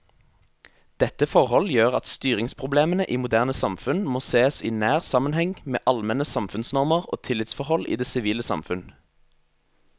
Dette forhold gjør at styringsproblemene i moderne samfunn må sees i nær sammenheng med allmenne samfunnsnormer og tillitsforhold i det sivile samfunn.